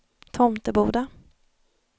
Tomteboda